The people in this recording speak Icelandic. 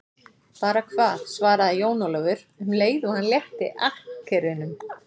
Bara hvað, svaraði Jón Ólafur um leið og hann létti akkerunum.